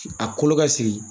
A kolo ka sigi